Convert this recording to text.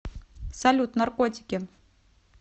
салют наркотики